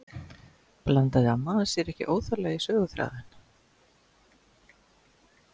Blandaði amma hans sér ekki óþarflega í söguþráðinn?